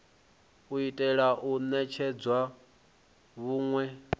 u itela u netshedza vhunwe